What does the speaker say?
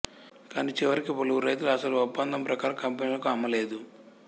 కానీ చివరికి పలువురు రైతులు అసలు ఒప్పందం ప్రకారం కంపెనీలకు అమ్మలేదు